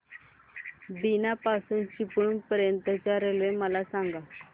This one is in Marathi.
बीना पासून चिपळूण पर्यंत च्या रेल्वे मला सांगा